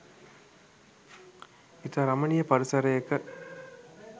ඉතා රමණීය පරිසරයක